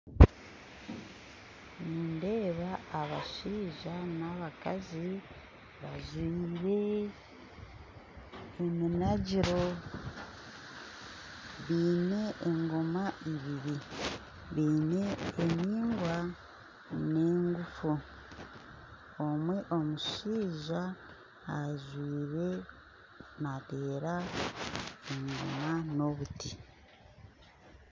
Nindeeba abashaija n'omukazi bajwire eminangiro baine egooma ibiri baine endigwa n'eguufu omwe omushaija ajwire naateera engoma n'obuti